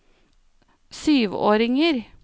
syvåringer